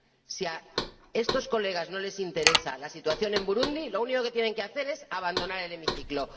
Si a estos colegas no les interesa la situación en Burundi, lo único que tienen que hacer es abandonar el hemiciclo.